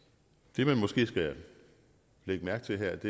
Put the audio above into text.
det man måske skal lægge mærke til her